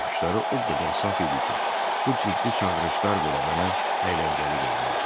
Baxışları o qədər saf idi ki, bu ciddi çağırışlar belə mənə əyləncəli görünürdü.